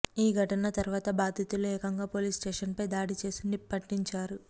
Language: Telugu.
ఈ ఘటన తరువాత బాధితులు ఏకంగా పోలీసు స్టేషన్పై దాడి చేసి నిప్పంటించారు